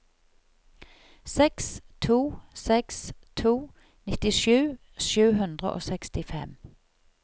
seks to seks to nittisju sju hundre og sekstifem